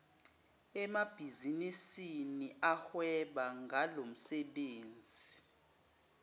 emabhizinisini ahweba ngalomsebenzi